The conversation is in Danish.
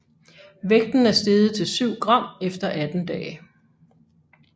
Vægten er steget til 7 gram efter 18 dage